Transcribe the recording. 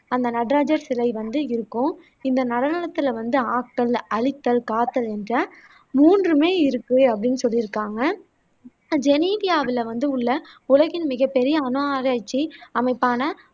அந்த நடரஜர் சிலை வந்து இருக்கும் இந்த நடனத்துல வந்து ஆக்கல் அழித்தல் காத்தல் என்ற மூன்றுமே இருக்கு அப்படின்னு சொல்லியிருக்காங்க ஜெனிவாவில் உள்ள உலகின் மிகப்பெரிய அணு ஆராய்ச்சி அமைப்பான